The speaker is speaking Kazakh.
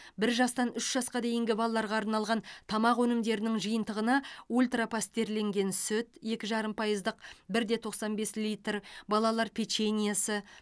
бір жастан үш жасқа дейінгі балаларға арналған тамақ өнімдерінің жиынтығына ультра пастерленген сүт екі жарым пайыздық бір де тоқсан бес литр балалар печеньесі